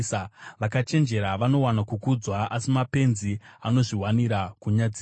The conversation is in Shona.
Vakachenjera vanowana kukudzwa, asi mapenzi anozviwanira kunyadziswa.